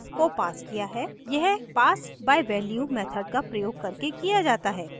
यह pass by value method का प्रयोग करके किया जाता है